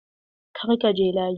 Kar ka je layi!